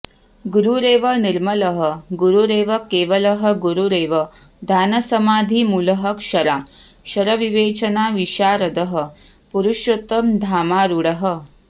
गुरुरेव निर्मलः गुरुरेव केवलः गुरुरेव ध्यानसमाधिमूलः क्षराक्षरविवेचनविशारदः पुरुषोत्तम धामारूढः